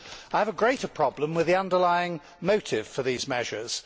I have a greater problem with the underlying motive for these measures.